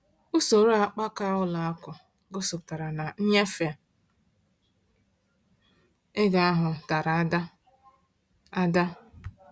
Usoro akpaka ụlọ akụ gosipụtara na nnyefe ego ahụ dara ada. ada.